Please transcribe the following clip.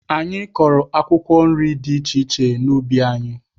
Anyị kọrọ akwụkwọ nri dị iche iche n'ubi anyị.